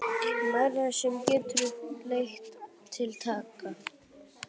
Margt sem getur leitt til lækkunar